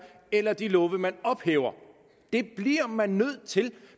eller af de love man ophæver det bliver man nødt til